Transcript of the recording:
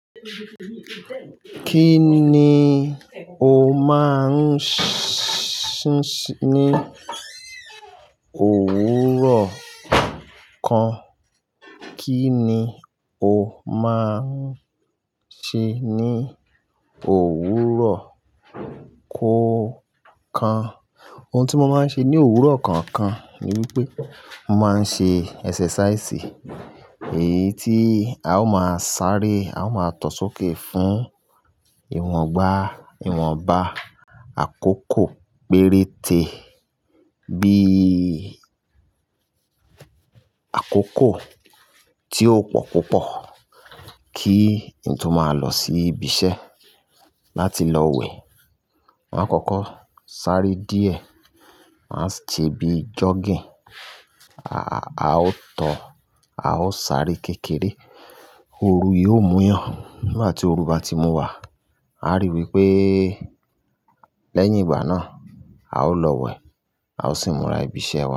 Kí ni o máa ń ṣe ní òwúrọ̀ kan? Kí ni o máa ń ṣe ní òwúrọ̀ kọ̀ọ̀kan? Ohun tí mo máa ń ṣe ní òwúrọ̀ kookan ni wípé mo máa ń ṣe exercise, èyí tí a ó máa sáré, a ó máa tọ sókè fún ìwọ̀ngbà ìwọ̀nbá àkókò péréte bí àkókò tí ó pọ̀ púpọ̀ kí nto máa lọ sí ibi iṣẹ́ láti lọ wẹ̀. Máa kọ́kọ́ sáré díẹ̀, máa se bí jogging, a ó tọ, a ó sáré kékeré, ooru yìí ó múyàn. Nigbà tí ooru bá ti mú wa, a rí wipé lẹ́yìn ìgbà náà a ó lọ wẹ̀, a ó sì mura ibi iṣẹ́ wa.